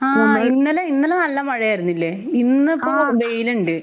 ആഹ് ഇന്നലെ ഇന്നലെ നല്ല മഴയായിരുന്നില്ലേ? ആഹ് ഇന്നിപ്പോ വെയിലിണ്ട്.